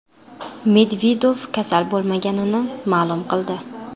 Medvedev kasal bo‘lmaganini ma’lum qildi.